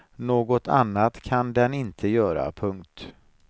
Något annat kan den inte göra. punkt